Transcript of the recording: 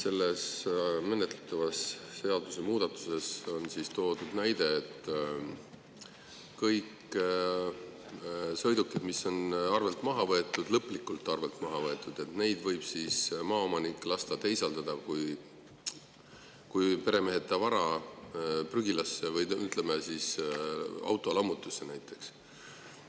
Selles menetletavas seadusemuudatuses on toodud näide, et kõiki sõidukeid, mis on arvelt maha võetud, lõplikult arvelt maha võetud, võib maaomanik lasta teisaldada kui peremeheta vara prügilasse või, ütleme, autolammutusse näiteks.